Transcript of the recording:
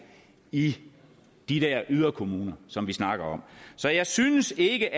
i de der yderkommuner som vi snakker om så jeg synes ikke